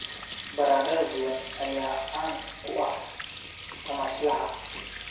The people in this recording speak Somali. Baradhada duban ayaa caan ku ah tamashlaha.